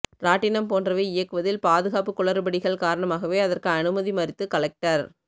ராட்டினம் போன்றவை இயக்குவதில் பாதுகாப்பு குளறுபடிகள் காரணமாக அதற்கு அனுமதி மறுத்து கலெக்டர்